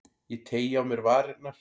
Ég teygi á mér varirnar.